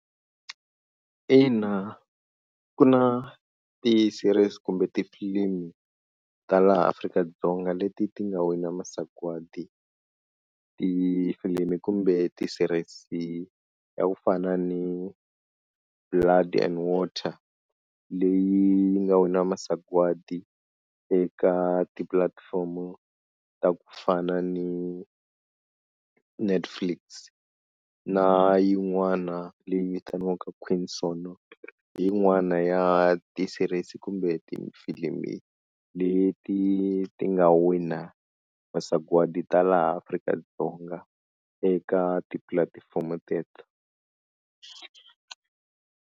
Ina ku na ti-series kumbe tifilimu ta laha Afrika-Dzonga leti ti nga wina masagwadi, tifilimi kumbe ti-series ta ku fana ni blood and water leyi yi nga wina masagwadi eka ti-platform-o ta ku fana ni Netflix na yin'wana leyi vitaniwaka Queen Sono, hi yin'wana ya ti-series kumbe tifilimi leti ti nga wina masagwadi ta laha Afrika-Dzonga eka tipulatifomo teto.